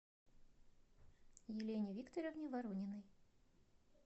елене викторовне ворониной